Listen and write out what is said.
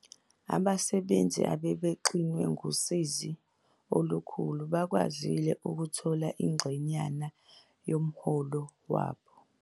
Abasebenzi abebexinwe ngusizi olukhulu bakwazile ukuthola ingxenyana yomholo wabo.